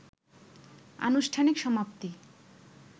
আনুষ্ঠানিক সমাপ্তি